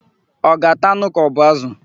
Ọ ga-ata anụ kaọbụ ázụ̀?